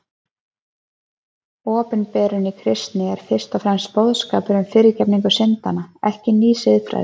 Opinberunin í Kristi er fyrst og fremst boðskapur um fyrirgefningu syndanna, ekki ný siðfræði.